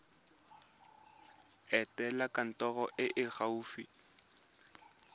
etela kantoro e e gaufi